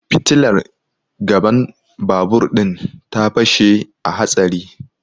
Fitilar gaban babur din ta fashe a hatsari